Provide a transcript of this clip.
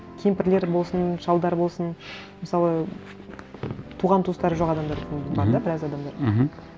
кемпірлер болсын шалдар болсын мысалы туған туыстары жоқ адамдар да мхм біраз адамдар мхм